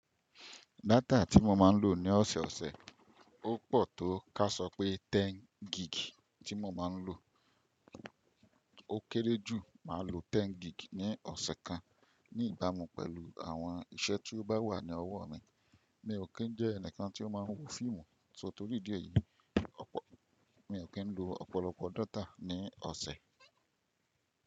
Data tí mo máa ń lò ní ọ̀sẹ̀ ọ̀sẹ̀, ó pọ̀ tó ká sọ pé 10 gig tí mo máa ń lò. Ó kéré jù, màá lo 10 gig ní ọ̀sẹ̀ kan ní ìbámu pẹ̀lú àwọn iṣẹ́ tí ó bá wà ní ọwọ́ mi. Mi ò kí ń jẹ́ ẹnìkan tí ó máa ń wo fíìmù, só torí díẹ̀ yìí, ọ̀pọ̀ mi ò kí ń lo ọ̀pọ̀lọpọ̀ data ní ọ̀sẹ̀.